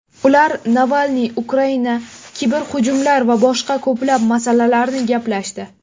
Ular Navalniy, Ukraina, kiberhujumlar va boshqa ko‘plab masalalarni gaplashdi.